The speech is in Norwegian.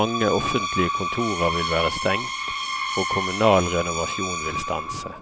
mange offentlige kontorer vil være stengt og kommunal renovasjon vil stanse.